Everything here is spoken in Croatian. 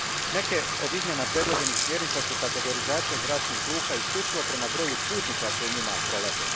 Neke od izmjena predloženih smjernica su kategorizacija zračnih luka isključivo prema broju putnika koji njima prolaze.